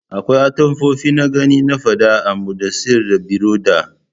Akwai atamfofi na gani na fada a Mudassair and Biroda